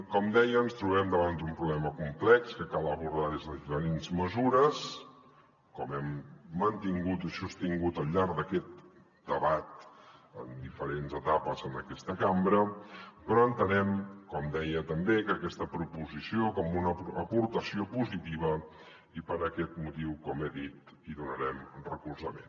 com deia ens trobem davant d’un problema complex que cal abordar des de diferents mesures com hem mantingut i sostingut al llarg d’aquest debat en diferents etapes en aquesta cambra però entenem com deia també aquesta proposició com una aportació positiva i per aquest motiu com he dit hi donarem recolzament